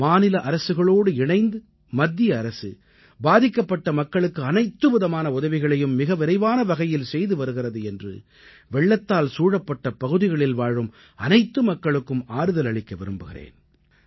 மாநில அரசுகளோடு இணைந்து மத்திய அரசு பாதிக்கப்பட்ட மக்களுக்கு அனைத்து விதமான உதவிகளையும் மிக விரைவான வகையில் செய்து வருகிறது என்று வெள்ளத்தால் சூழப்பட்ட பகுதிகளில் வாழும் அனைத்து மக்களுக்கும் ஆறுதலளிக்க விரும்புகிறேன்